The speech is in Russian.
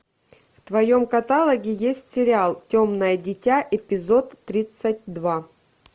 в твоем каталоге есть сериал темное дитя эпизод тридцать два